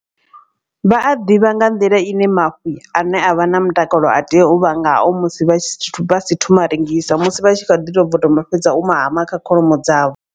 Vha a ḓivha nga nḓila ine mafhi ane avha na mutakalo a tea u vha ngao musi vha si thoma u a rengisa. Musi vha tshi kha ḓi tou bva u ma fhedza u hama kha kholomo dzavho.